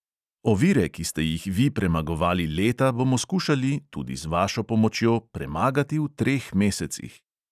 Ovire, ki ste jih vi premagovali leta, bomo skušali – tudi z vašo pomočjo – premagati v treh mesecih ...